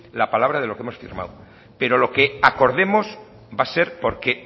la palabra de lo que hemos firmado pero lo que acordemos va a ser porque